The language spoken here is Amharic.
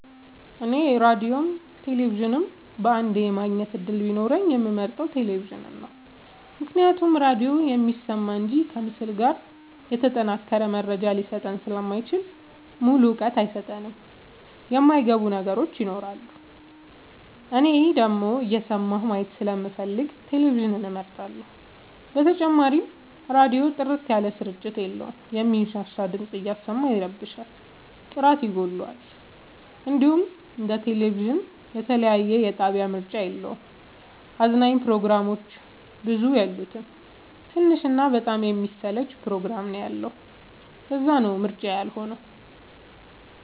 እኔ ራዲዮም ቴሌቪዥንም በአንዴ የማግኘት እድል ቢኖረኝ የምመርጠው። ቴሌቪዥንን ነው ምክንያቱም ራዲዮ የሚሰማ እንጂ ከምስል ጋር የተጠናቀረ መረጃ ሊሰጠኝ ስለማይችል ሙሉ እውቀት አይሰጥም የማይ ገቡን ነገሮች ይኖራሉ። እኔ ደግሞ እየሰማሁ ማየት ስለምፈልግ ቴሌቪዥንን እመርጣለሁ። በተጨማሪም ራዲዮ ጥርት ያለ ስርጭት የለውም የሚንሻሻ ድምፅ እያሰማ ይረብሻል ጥራት ይጎለዋል። እንዲሁም እንደ ቴሌቪዥን የተለያየ የጣቢያ ምርጫ የለውም። አዝናኝ ፕሮግራሞችም ብዙ የሉት ትንሽ እና በጣም የሚያሰለች ፕሮግራም ነው ያለው ለዛነው ምርጫዬ ያልሆ ነው።